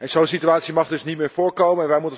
Zo'n situatie mag niet meer voorkomen.